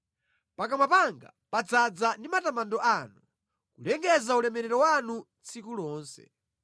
Pakamwa panga padzaza ndi matamando anu, kulengeza ulemerero wanu tsiku lonse.